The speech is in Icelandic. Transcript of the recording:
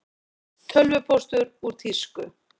Tölvupóstur úr tísku